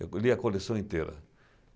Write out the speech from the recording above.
Eu lia a coleção inteira.